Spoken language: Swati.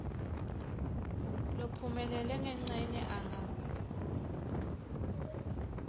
lophumelele ngencenye anga